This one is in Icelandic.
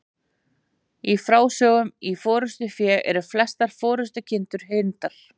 Í frásögnum í Forystufé eru flestar forystukindurnar hyrndar.